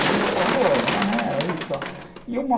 Às vezes você fala, pô, maneira aí e tal. E uma